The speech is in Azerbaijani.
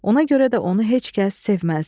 Ona görə də onu heç kəs sevməzdi.